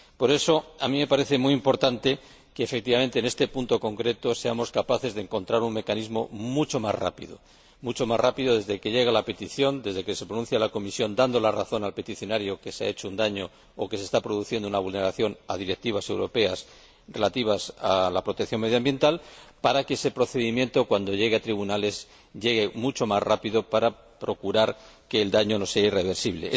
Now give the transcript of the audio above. Por eso a mí me parece muy importante que, efectivamente, en este punto concreto, seamos capaces de encontrar un mecanismo mucho más rápido mucho más rápido desde que llega la petición, desde que se pronuncia la Comisión dando la razón al peticionario de que se ha hecho un daño o se está produciendo una vulneración de directivas europeas relativas a la protección medioambiental, para que ese procedimiento, cuando llegue a los tribunales, llegue mucho más rápido para procurar que el daño no sea irreversible.